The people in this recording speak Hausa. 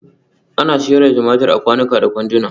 Ana sayar da tumatur a kwanuka da kwanduna